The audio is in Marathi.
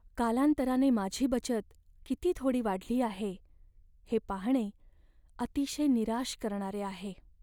कालांतराने माझी बचत किती थोडी वाढली आहे हे पाहणे अतिशय निराश करणारे आहे.